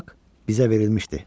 Bu haq bizə verilmişdi.